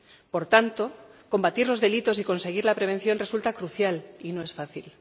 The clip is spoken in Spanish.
Por tanto, combatir los delitos y conseguir la prevención resulta crucial, y no es fácil.